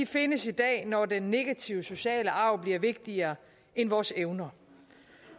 findes i dag når den negative sociale arv bliver vigtigere end vores evner